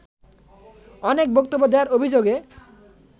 অনেক বক্তব্য দেওয়ার অভিযোগে